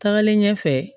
Tagalen ɲɛfɛ